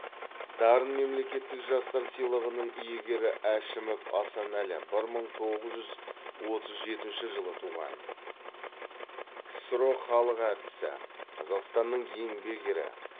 дарын мемлекеттік жастар сыйлығының иегері әшімов асанәлі бір мың тоғыз жүз отыз жетінші жылы туған ксро халық әртісі қазақстанның еңбек ері